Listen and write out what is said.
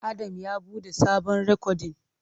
Adam ya bude sabon rikodin.